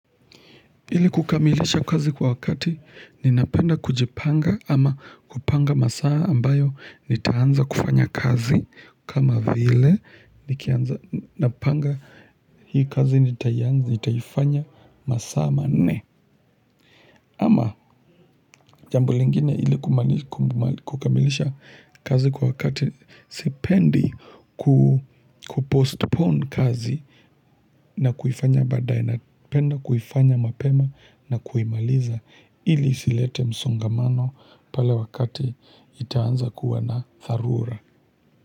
Ili kukamilisha kazi kwa wakati ninapenda kujipanga ama kupanga masaa ambayo nitaanza kufanya kazi kama vile nikianza napanga hii kazi nitaifanya masaa manne. Ama jambo lingine ili kukamilisha kazi kwa wakati sipendi kupostpone kazi na kuifanya badae napenda kuifanya mapema na kuimaliza ili isilete msongamano pale wakati nitaanza kuwa na dharura.